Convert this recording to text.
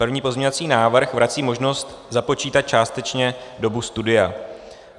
První pozměňovací návrh vrací možnost započítat částečně dobu studia.